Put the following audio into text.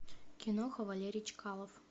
киноха валерий чкалов